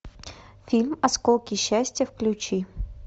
фильм осколки счастья включи